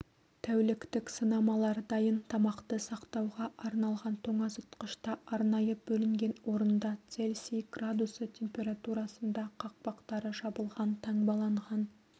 тәуліктік сынамалар дайын тамақты сақтауға арналған тоңазытқышта арнайы бөлінген орында цельсий градусы температурасында қақпақтары жабылған таңбаланған